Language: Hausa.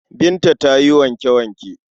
Binta ta yi wanke-wanke.